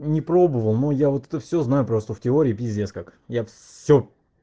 не пробовал но я вот это всё знаю просто в теории пиздец как я всё